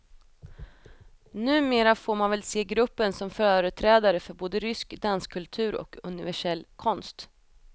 Numera får man väl se gruppen som företrädare för både rysk danskultur och universell konst.